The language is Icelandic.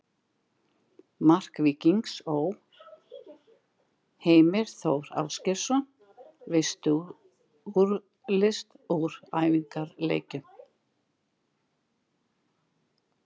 Mark Víkings Ó.: Heimir Þór Ásgeirsson Veistu úrslit úr æfingaleikjum?